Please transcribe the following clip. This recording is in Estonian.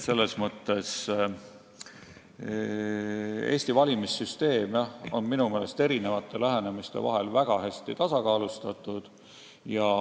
Selles mõttes on Eesti valimissüsteem minu meelest väga hästi tasakaalustatud.